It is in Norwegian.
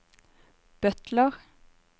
butler